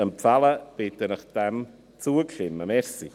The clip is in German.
Ich bitte Sie, zuzustimmen.